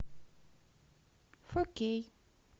фо кей